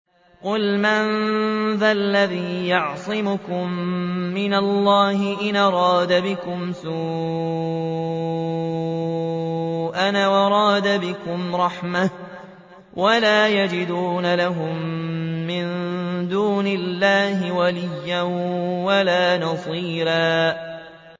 قُلْ مَن ذَا الَّذِي يَعْصِمُكُم مِّنَ اللَّهِ إِنْ أَرَادَ بِكُمْ سُوءًا أَوْ أَرَادَ بِكُمْ رَحْمَةً ۚ وَلَا يَجِدُونَ لَهُم مِّن دُونِ اللَّهِ وَلِيًّا وَلَا نَصِيرًا